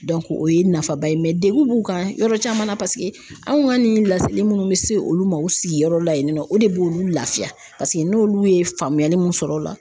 o ye nafaba ye mɛ degun b'u kan yɔrɔ caman na paseke anw ka nin laseli minnu bɛ se olu ma u sigiyɔrɔ la yen nɔ o de b'olu lafiya paseke n'olu ye faamuyali mun sɔrɔ o la